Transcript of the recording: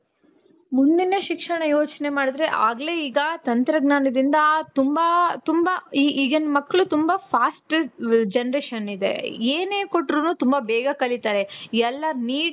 ಮುಂದಿನ ಶಿಕ್ಷಣ ಯೋಚನೆ ಮಾಡಿದ್ರೆ ಆಗ್ಲೇ ಈಗ ತಂತ್ರಜ್ಞಾನದಿಂದ ತುಂಬಾ ತುಂಬಾ ಈಗಿನ್ ಮಕ್ಳು ತುಂಬಾ fast generation ಇದೆ. ಏನೇ ಕೊಟ್ರುನು ತುಂಬಾ ಬೇಗ ಕಲಿತಾರೆ. ಎಲ್ಲಾ neat